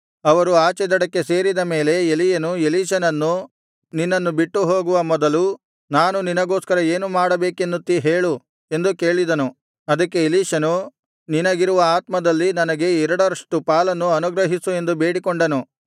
ಅವರು ಆಚೆ ದಡಕ್ಕೆ ಸೇರಿದ ಮೇಲೆ ಎಲೀಯನು ಎಲೀಷನನ್ನು ನಿನ್ನನ್ನು ಬಿಟ್ಟು ಹೋಗುವ ಮೊದಲು ನಾನು ನಿನಗೋಸ್ಕರ ಏನು ಮಾಡಬೇಕೆನ್ನುತ್ತೀ ಹೇಳು ಎಂದು ಕೇಳಿದನು ಅದಕ್ಕೆ ಎಲೀಷನು ನಿನಗಿರುವ ಆತ್ಮದಲ್ಲಿ ನನಗೆ ಎರಡರಷ್ಟು ಪಾಲನ್ನು ಅನುಗ್ರಹಿಸು ಎಂದು ಬೇಡಿಕೊಂಡನು